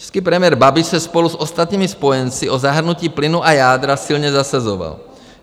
Český premiér Babiš se spolu s ostatními spojenci o zahrnutí plynu a jádra silně zasazoval.